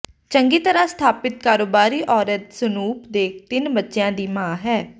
ਚੰਗੀ ਤਰ੍ਹਾਂ ਸਥਾਪਿਤ ਕਾਰੋਬਾਰੀ ਔਰਤ ਸਨੂਪ ਦੇ ਤਿੰਨ ਬੱਚਿਆਂ ਦੀ ਮਾਂ ਹੈ